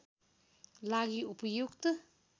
लागि उपयुक्त